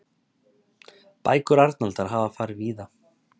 Bækur Arnaldar hafa farið víða.